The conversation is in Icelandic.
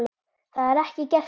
Það er ekki gert hér.